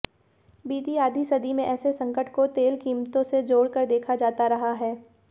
बीती आधी सदी में ऐसे संकट को तेल कीमतों से जोड़कर देखा जाता रहा है